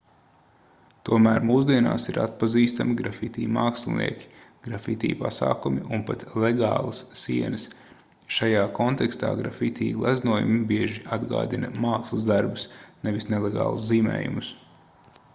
tomēr mūsdienās ir atpazīstami grafiti mākslinieki grafiti pasākumi un pat legālas sienas šajā kontekstā grafiti gleznojumi bieži atgādina mākslas darbus nevis nelegālus zīmējumus